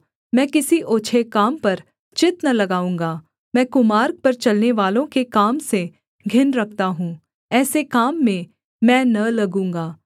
मैं किसी ओछे काम पर चित्त न लगाऊँगा मैं कुमार्ग पर चलनेवालों के काम से घिन रखता हूँ ऐसे काम में मैं न लगूँगा